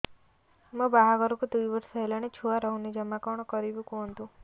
ମୋ ବାହାଘରକୁ ଦୁଇ ବର୍ଷ ହେଲାଣି ଛୁଆ ରହୁନି ଜମା କଣ କରିବୁ କୁହନ୍ତୁ